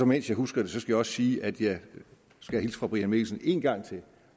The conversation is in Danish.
mens jeg husker det skal jeg også sige at jeg skal hilse fra herre brian mikkelsen en gang til